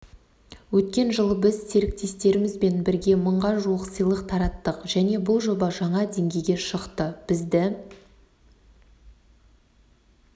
өткен жылы біз серіктестерімізбен бірге мыңға жуық сыйлық тараттық және бұл жоба жаңа деңгейге шықты бізді